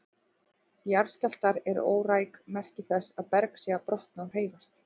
Jarðskjálftar eru óræk merki þess að berg sé að brotna og hreyfast.